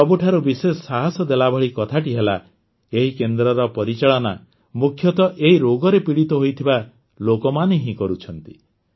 ସବୁଠାରୁ ବିଶେଷ ସାହସ ଦେଲାଭଳି କଥାଟି ହେଲା ଏହି କେନ୍ଦ୍ରର ପରିଚାଳନା ମୁଖ୍ୟତଃ ଏହି ରୋଗରେ ପୀଡ଼ିତ ହୋଇଥିବା ଲୋକମାନେ ହିଁ କରୁଛନ୍ତି